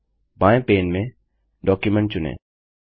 बायें पैन में डॉक्युमेंट चुनें